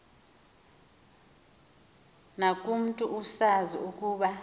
kubantu usazi ukuba